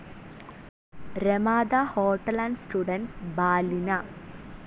Ramada Hotel and Suites Ballina